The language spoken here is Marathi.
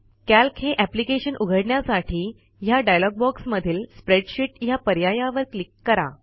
कॅल्क हे एप्लिकेशन उघडण्यासाठी ह्या डायलॉग बॉक्समधील स्प्रेडशीट या पर्यायावर क्लिक करा